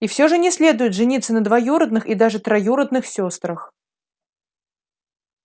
и всё же не следует жениться на двоюродных и даже троюродных сёстрах